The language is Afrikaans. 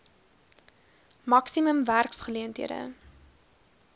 maksimum werks geleenthede